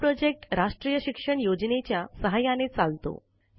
हा प्रॉजेक्ट राष्ट्रीय शिक्षण योजनेच्या सहाय्याने चालतो